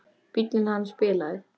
Bíllinn hans bilaði.